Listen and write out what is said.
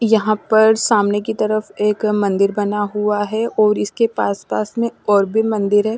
यहाँ पर सामने की तरफ एक मंदिर बना हुआ है और इसके पास-पास में और भी मंदिर है।